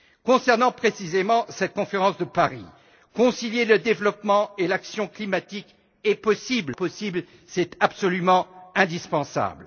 Concernant précisément cette conférence de Paris, concilier le développement et l'action climatique est possible mais ce n'est pas uniquement possible, c'est absolument indispensable.